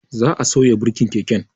Za'a sauya birkin keken